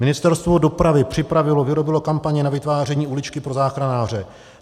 Ministerstvo dopravy připravilo, vyrobilo kampaň na vytváření uličky pro záchranáře.